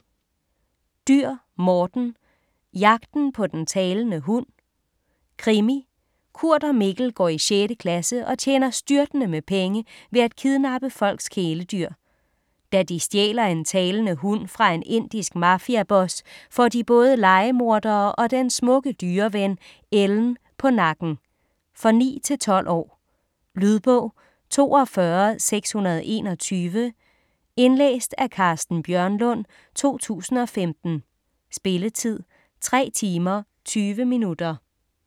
Dürr, Morten: Jagten på den talende hund Krimi. Kurt og Mikkel går i 6. klasse og tjener styrtende med penge ved at kidnappe folks kæledyr. Da de stjæler en talende hund fra en indisk mafiaboss, får de både lejemordere og den smukke dyreven, Ellen på nakken. For 9-12 år. Lydbog 42621 Indlæst af Carsten Bjørnlund, 2015. Spilletid: 3 timer, 20 minutter.